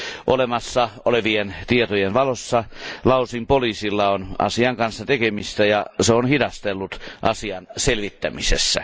Olemassa olevien tietojen valossa Laosin poliisilla on asian kanssa tekemistä, ja se on hidastellut asian selvittämisessä.